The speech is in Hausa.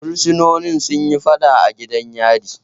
Bursinoni sun yi faɗa a gidan yari